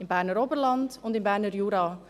Im Berner Oberland und im Berner Jura.